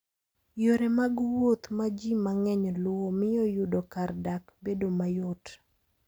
Yore mag wuoth ma ji mang'eny luwo miyo yudo kar dak bedo mayot.